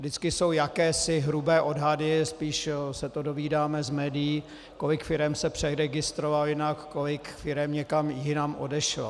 Vždycky jsou jakési hrubé odhady, spíše se to dozvídáme z médií, kolik firem se přeregistrovalo jinak, kolik firem někam jinam odešlo.